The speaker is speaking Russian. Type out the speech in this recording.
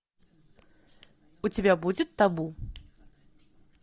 у тебя будет табу